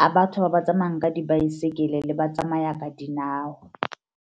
a batho ba ba tsamayang ka dibaesekele le ba tsamaya ka dinao.